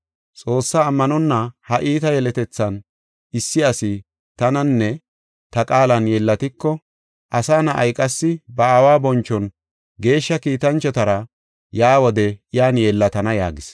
Xoossaa ammanonna ha iita yeletethan, issi asi tananinne ta qaalan yeellatiko, Asa Na7ay, qassi ba Aawa bonchon geeshsha kiitanchotara yaa wode iyan yeellatana” yaagis.